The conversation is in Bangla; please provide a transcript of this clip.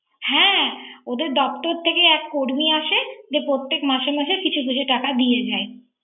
হ্যা ওদের দপ্তর থেকে এক কর্মি আসে যে প্রত্যেক মাসে মাসে কিছু কিছু টাকা দিয়ে যায়।